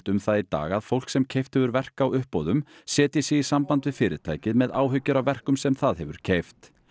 um það í dag að fólk sem keypt hefur verk á uppboðum setji sig í samband við fyrirtækið með áhyggjur af verkum sem það hefur keypt